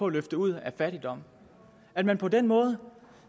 løfte ud af fattigdom at man på den måde